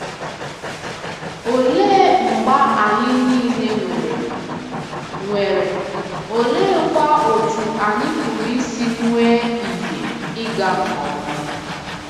Olee mgba anyị nile nwere, nwere, oleekwa otú anyị pụrụ isi nwee ihe ịga nke ọma?